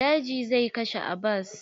Daji zai kashe Abbas.